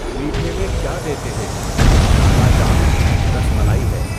میٹھے میں کیا دیتے ہیں؟ کالا جام، رَس ملائی ہے۔